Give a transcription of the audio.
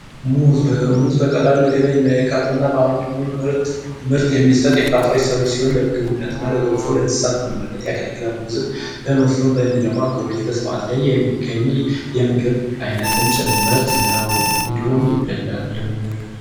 ሙዝ ሙዝ በቀላሉ ለገበያ የሚያቀርብ እና በአመቱ ምርጥ ምርት የሚሰጥ የፍራፍሬ ሰብል ሲሆን፤ ለምግብነትና ለገንፎ እና ለእንስሳት መኖነት ያገለግላል። ሙዝም ብዙ በሚለው አካባቢዎች በስፋት ላይ የሚገኝ የምግብ ዓይነትም ጭምርት ነው፤ እንዲሁም ይበላልም።